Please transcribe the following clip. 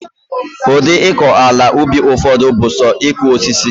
Udi iko ala ubi ufodu bu so iku osisi